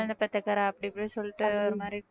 குழந்தை பெத்த கறை அப்படி இப்படின்னு சொல்லிட்டு ஒரு மாதிரி